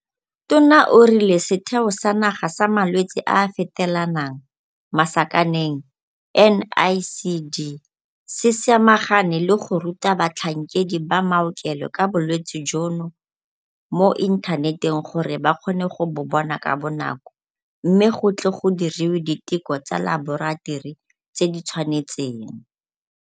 Tona o rile Setheo sa Naga sa Malwetse a a Fetelanang, NICD, se samagane le go ruta batlhankedi ba maokelo ka bolwetse jono mo inthaneteng gore ba kgone go bo bona ka bonako mme go tle go diriwe diteko tsa laboratori tse di tshwanetseng.